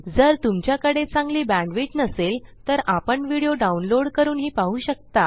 जर तुमच्याकडे चांगली बॅण्डविड्थ नसेल तर आपण व्हिडिओ डाउनलोड करूनही पाहू शकता